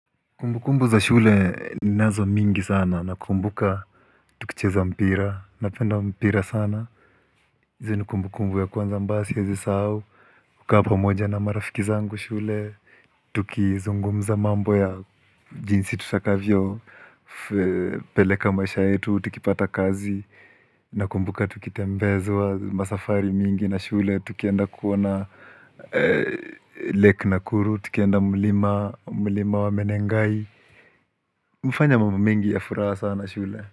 Kumbukumbu za shule ninazo mingi sana nakumbuka tukicheza mpira, napenda mpira sana. Hizi kumbukumbu ya kwanza ambayo siwezi sahau kukaa pamoja na marafiki zangu shule, tukizungumza mambo ya jinsi tutakavyopeleka maisha yetu, tukipata kazi, nakumbuka tukitembezwa masafari mingi na shule, tukienda kuona lake nakuru, tukienda mlima wa menengai. Kufanya mambo mengi ya furaha sana shule.